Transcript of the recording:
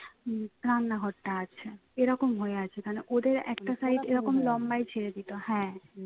উম রান্নাঘরটা আছে এরকম হয়ে আছে এখানে ওদের একটা side এরকম লম্বায় ছেড়ে দিত হ্যাঁ